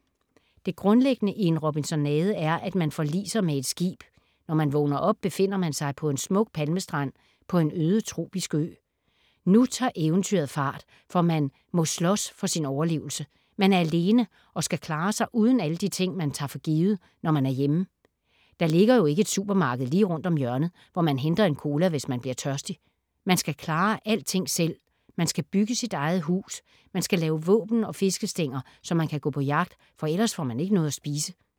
Det grundlæggende i en robinsonade er, at man forliser med et skib. Når man vågner op, befinder man sig på en smuk palmestrand på en øde tropisk ø. Nu tager eventyret fart, for man må slås for sin overlevelse. Man er alene og skal klare sig uden alle de ting, man tager for givet, når man er hjemme. Der ligger jo ikke et supermarked lige rundt om hjørnet, hvor man henter en cola, hvis man bliver tørstig. Man skal klare alting selv. Man skal bygge sit eget hus. Man skal lave våben og fiskestænger, så man kan gå på jagt, for ellers får man ikke noget at spise.